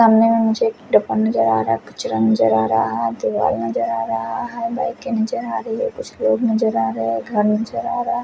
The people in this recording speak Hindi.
सामने में मुझे एक डब्बा नजर आ रहा है कचरा नजर आ रहा है दीवार नजर आ रहा है बाइके नजर आ रही है कुछ लोग नजर आ रही है घर नजर आ रहा--